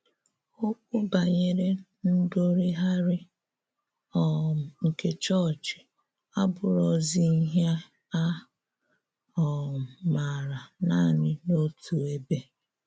Ọ́kwú banyere ndórùgharị um nke chọọ́chị̀ abụ̀rọ̀zì íhè a um màrà nanị n’òtù èbè.